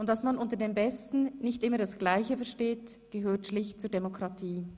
Und dass man unter dem Besten nicht immer das gleiche versteht, gehört schlicht zur Demokratie.